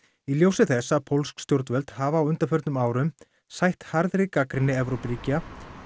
í ljósi þess að pólsk stjórnvöld hafa á undanförnum árum sætt harðri gagnrýni Evrópuríkja